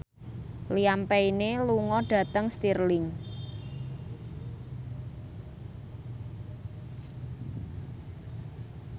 Liam Payne lunga dhateng Stirling